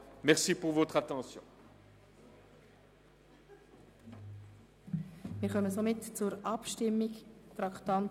Für die BDPFraktion ist dieser Kredit sehr wichtig.